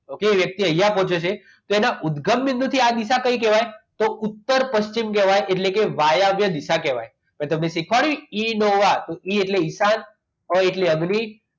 okay એ વ્યક્તિ અહીંયા પહોંચ્યો છે તો એમના ઉદ્ગમ બિંદુ થી આ દિશા કઈ કહેવાય તો ઉત્તર પશ્ચિમ કહેવાય એટલે કે વાયવ્ય દિશા કહેવાય મેં તમને શીખવાડ્યું એ ઇઅનોવા ઈ એટલે ઈશાન અને અ એટલે અગ્નિ